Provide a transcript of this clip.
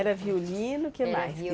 Era violino que mais